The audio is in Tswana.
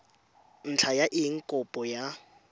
ntlha ya eng kopo ya